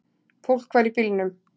Fólk var í bílnum.